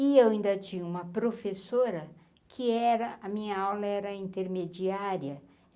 E eu ainda tinha uma professora que era... A minha aula era intermediária.